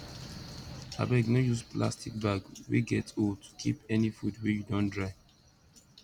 abeg no use plastic bag wey get hole to keep any food wey you don dry